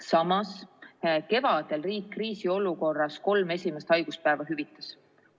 Samas, kevadel riik kriisiolukorras kolme esimest haiguspäeva hüvitas.